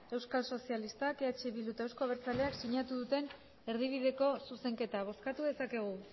euskal sozialistak eh bildu eta euzko abertzaleak sinatu duten erdibideko zuzenketa bozkatu dezakegu